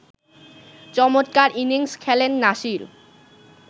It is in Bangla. চমৎকার ইনিংস খেলেন নাসির